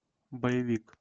боевик